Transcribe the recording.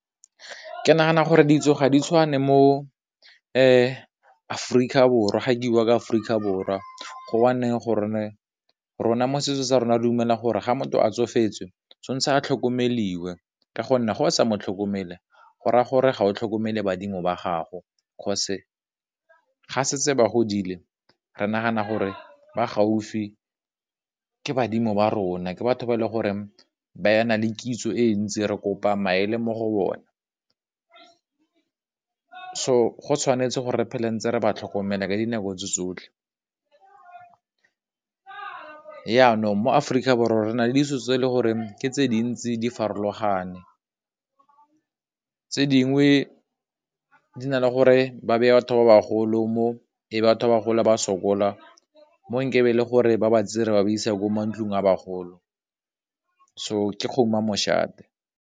Ke nagana gore ditso ga di tshwane mo Aforika Borwa, gake buwa ka Aforika Borwa rona mo setsong sa rona dumela gore ga motho a tsofetse a tlhokomeliwe ka gonne go sa mo tlhokomele go raya gore ga o tlhokomele badimo ba gago, 'cause ga se tse ba godile, re nagana gore ba gaufi, ke badimo ba rona, ke batho ba le gore ba na le kitso e ntsi, re kopa maele mo go bona, so go tshwanetse go re phele ntse re ba tlhokomela ka dinako tse tsotlhe. Yanong mo Aforika Borwa, re nale ditso tse e le gore ke tse dintsi di farologane, tse dingwe di na le gore ba beye batho ba bagolo mo, batho ba gola ba sokola, mo nkabe le gore ba ba tseye re ba ba isa ko mantlong a bagolo so ke kgomo ya moshate.